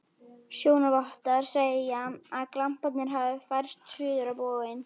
Sjónarvottar segja, að glamparnir hafi færst suður á bóginn.